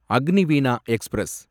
Agniveena express